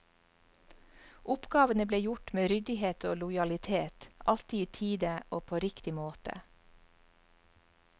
Oppgavene ble gjort med ryddighet og lojalitet, alltid i tide og på riktig måte.